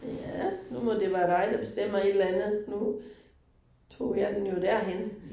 Ja, nu må det være dig der bestemmer et eller andet. Nu tog jeg den jo derhenne